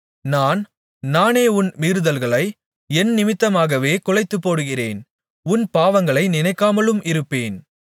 நான் நானே உன் மீறுதல்களை என் நிமித்தமாகவே குலைத்துப்போடுகிறேன் உன் பாவங்களை நினைக்காமலும் இருப்பேன்